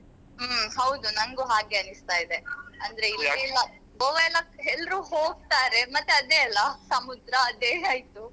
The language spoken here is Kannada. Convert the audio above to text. ಹ್ಮ್ ಹೌದು ನನ್ಗು ಹಾಗೆ ಅನಿಸ್ತಾ ಇದೆ ಅಂದ್ರೆ ಇಲ್ಲಿ ಎಲ್ಲ Goa ಎಲ್ಲ ಎಲ್ರು ಹೋಗ್ತಾರೆ ಮತ್ತೆ ಅದೇ ಅಲ್ಲ ಸಮುದ್ರ ಅದೆ ಆಯ್ತು .